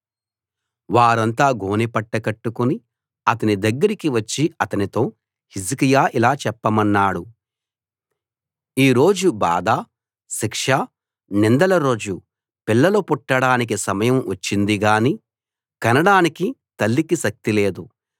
వారంతా గోనెపట్ట కట్టుకుని అతని దగ్గరికి వచ్చి అతనితో హిజ్కియా ఇలా చెప్పమన్నాడు ఈ రోజు బాధ శిక్ష నిందల రోజు పిల్లలు పుట్టడానికి సమయం వచ్చిందిగాని కనడానికి తల్లికి శక్తి లేదు